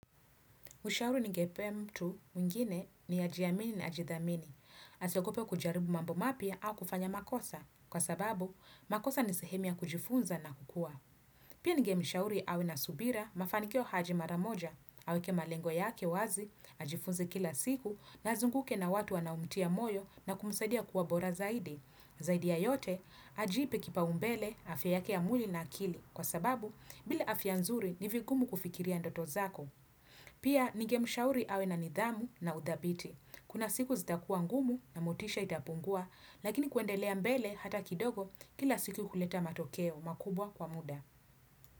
Ushauri ningepea mtu mwingine ni ajiamini na ajidhamini. Asiogope kujaribu mambo mapia au kufanya makosa. Kwa sababu, makosa ni sehemu ya kujifunza na kukua. Pia ningemshauri awe na subira, mafanikio haji maramoja. Aweke malengo yake wazi, ajifunze kila siku na azunguke na watu wanaomtia moyo na kumsadia kuwa bora zaidi. Zaidi ya yote, ajiipe kipaumbele, afya yake ya mwili na akili. Kwa sababu, bile afya nzuri ni vigumu kufikiria ndoto zako. Pia ninge mshauri awe na nidhamu na udhabiti Kuna siku zitakuwa ngumu na motisha itapungua Lakini kuendelea mbele hata kidogo kila siku kuleta matokeo makubwa kwa muda.